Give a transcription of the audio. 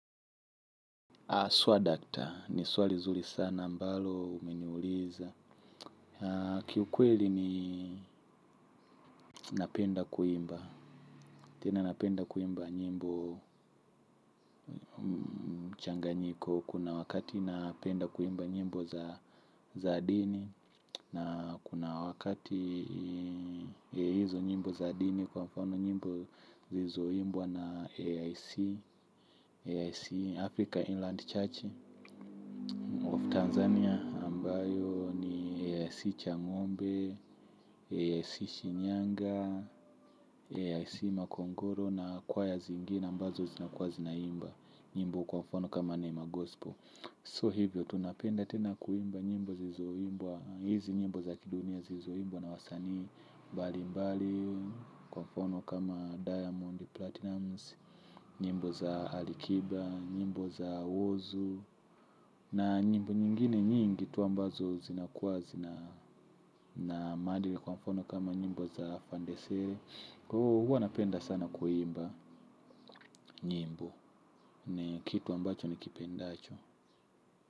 Swadakta ni swali zuri sana ambalo umeniuliza. Kiukweli ni napenda kuimba. Tena napenda kuimba nyimbo changanyiko. Kuna wakati napenda kuimba nyimbo za dini. Na kuna wakati hizo nyimbo za dini kwa mfano nyimbo zilizoimbwa na AIC. AIC, Africa Inland Church. Tanzania ambayo, ni AIC Changombe. Sishi Nyanga AIC Makongoro. Na kwaya zingine ambazo zinakuwa zinaimba nyimbo kwa mfano kama Neema Gospel So hivyo tunapenda tena kuimba nyimbo zilizoimbwa. Hizi nyimbo za kidunia zilizombwa na wasanii mbali mbali. Kwa mfano kama Diamond Platinums. Nyimbo za Alikiba. Nyimbo za Wozu. Na nyimbo nyingine nyingi tu ambazo zinakuwa zina na maadili kwa mfano kama nyimbo za fandesere. Kwa hiyo huwa napenda sana kuimba nyimbo. Ni kitu ambacho nikipendacho.